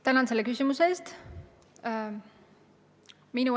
Tänan selle küsimuse eest!